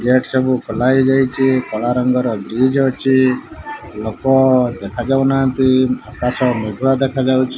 Gate ସବୁ ଖୋଲା ହେଇଯାଇଛି କଳା ରଙ୍ଗର ବ୍ରିଜ୍ ଅଛି ଲୋକ ଦେଖାଯାଉନାହାନ୍ତି ଆକାଶ ମେଘୁଆ ଦେଖାଯାଉଛି।